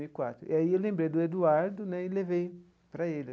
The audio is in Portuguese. E quatro e aí eu lembrei do Eduardo né e levei para ele.